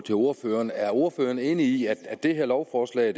til ordføreren er ordføreren enig i at det her lovforslag